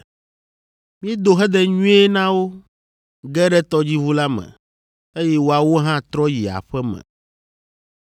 Míedo hedenyuie na wo, ge ɖe tɔdziʋu la me, eye woawo hã trɔ yi aƒe me.